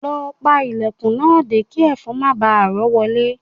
Lọ pa ilẹ̀kùn náà dé kí ẹ̀fọn má baà rọ́ wọlé